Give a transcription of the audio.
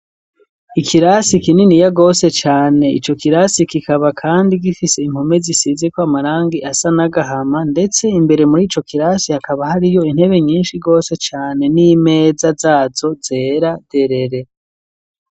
Ikirasi kininiya gose cane, ico kirasi kikaba kandi gifise impome zisizeko amarangi asa n'agahama, ndetse imbere muri ico kirasi hakaba hariyo intebe nyinshi gose cane n'imeza zazo zera derere.